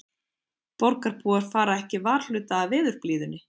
Borgarbúar fara ekki varhluta af veðurblíðunni